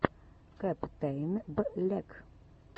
каптэйнблек